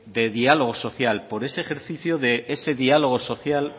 de diálogo social por ese ejercicio de ese diálogo social